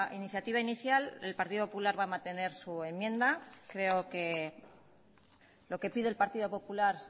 iniciativa inicial el partido popular va a mantener su enmienda creo que lo que pide el partido popular